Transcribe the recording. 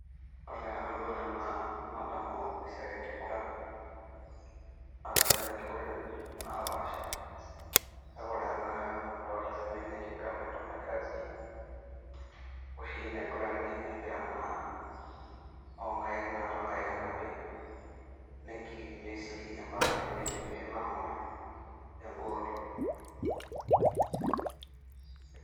ore tenadol ena naa nadamu esiai enkiguran, naa keetai inkiguratin naapasha kake ore tenakata ena nadolita tena naa enkiguran entoki naji rugby oshi naigurani empira oinkaek naa toonkaek enapi nikiekenyae sii opmaka ade nidim nilo angor engol.